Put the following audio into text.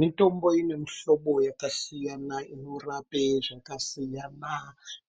Mitombo ine mihlobo yakasiyana inorapa zvakasiyana,